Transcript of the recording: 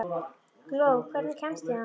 Gló, hvernig kemst ég þangað?